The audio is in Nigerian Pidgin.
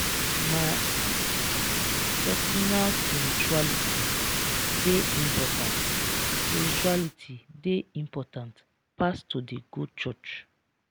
my personal spirituality dey important spirituality dey important pass to dey go church.